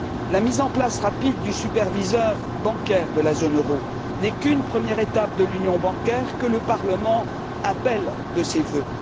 La mise en place rapide du superviseur bancaire de la zone euro n'est qu'une première étape de l'union bancaire, que le Parlement appelle de ses vœux.